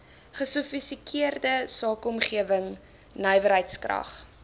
gesofistikeerde sakeomgewing nywerheidskrag